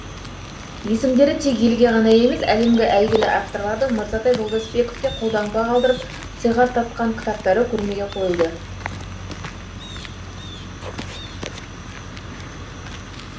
есімдері тек елге ғана емес әлемге әйгілі авторлардың мырзатай жолдасбековке қолтаңба қалдырып сыйға тартқан кітаптары көрмеге қойылды